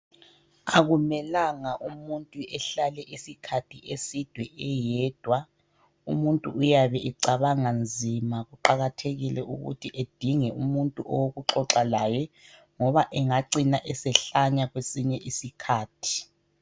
Akumelanga umuntu ehlale isikhathi eside eyedwa umuntu uyabe ecabanga nzima kuqakathekile ukuthi edinge umuntu owokuxoxa laye ngoba engacina esehlanya kwesinye iskhathi.